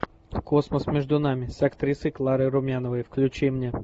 космос между нами с актрисой кларой румяновой включи мне